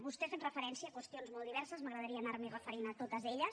vostè ha fet referència a qüestions molt diverses m’agradaria anar m’hi referint a totes elles